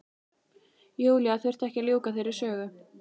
Júlía þurfti ekki að ljúka þeirri sögu.